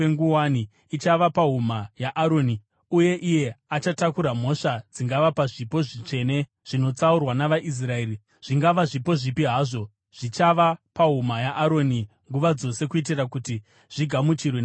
Ichava pahuma yaAroni, uye iye achatakura mhosva dzingava pazvipo zvitsvene zvinotsaurwa navaIsraeri, zvingava zvipo zvipi hazvo. Zvichava pahuma yaAroni nguva dzose kuitira kuti zvigamuchirwe naJehovha.